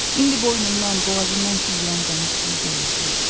İndi boynundan, boğazından süzülən dəniz suyu deyildi.